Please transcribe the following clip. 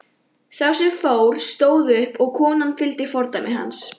Sá sem fór stóð upp og konan fylgdi fordæmi hans.